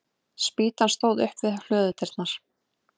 Spýtan stóð upp við hlöðudyrnar.